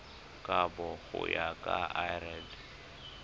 kabo go ya ka lrad